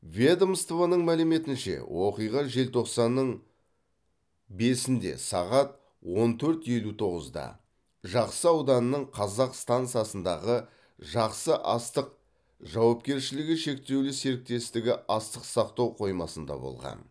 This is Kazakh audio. ведомствоның мәліметінше оқиға желтоқсанның бесінде сағат он төрт елу тоғызда жақсы ауданының казақ стансасындағы жақсы астық жауапкершілігі шектеулі серіктестігі астық сақтау қоймасында болған